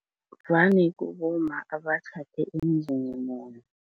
Vane kubomma abatjhade emzini munye.